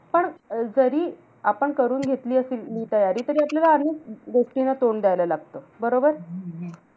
पण अं जरी आपण करून घेतली असेल हि तयारी, तरी आपल्याला अनेक व्यक्तींना तोंड द्यायला लागतं. बरोबर?